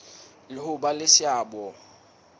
le ho ba le seabo